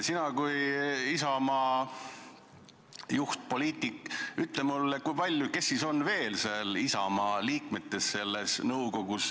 Sina kui Isamaa juhtpoliitik, ütle mulle, kes siis on veel seal Isamaa liikmetest!